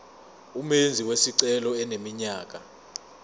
umenzi wesicelo eneminyaka